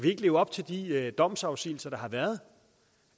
ikke leve op til de domsafsigelser der har været